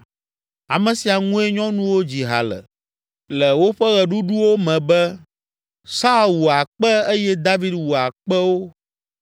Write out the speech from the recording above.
Ame sia ŋue nyɔnuwo dzi ha le, le woƒe ɣeɖuɖuwo me be, “Saul wu akpe eye David wu akpewo!”